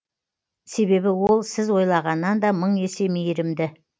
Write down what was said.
себебі ол сіз ойлағаннан да мың есе мейірімді